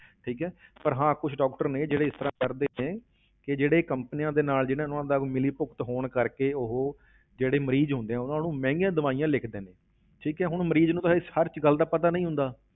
ਠੀਕ ਹੈ ਪਰ ਹਾਂ ਕੁਛ doctor ਨੇ ਜਿਹੜੇ ਇਸ ਤਰ੍ਹਾਂ ਕਰਦੇ ਨੇ ਕਿ ਜਿਹੜੇ companies ਦੇ ਨਾਲ ਜਿੰਨਾਂ ਨੂੰ ਹੁੰਦਾ ਵੀ ਮਿਲੀ ਭੁਗਤ ਹੋਣ ਕਰਕੇ ਉਹ ਜਿਹੜੈ ਮਰੀਜ਼ ਹੁੰਦੇ ਆ ਉਨ੍ਹਾਂ ਨੂੰ ਮਹਿੰਗੀਆਂ ਦਵਾਈਆਂ ਲਿਖਦੇ ਨੇ, ਠੀਕ ਹੈ, ਹੁਣ ਮਰੀਜ਼ ਨੂੰ ਤਾਂ ਹਜੇ ਹਰ ਇੱਕ ਗੱਲ ਦਾ ਪਤਾ ਨਹੀਂ ਹੁੰਦਾ,